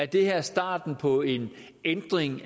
det her starten på en ændring